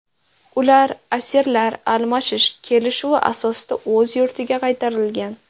Ular asirlar almashish kelishuvi asosida o‘z yurtiga qaytarilgan.